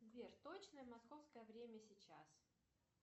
сбер точное московское время сейчас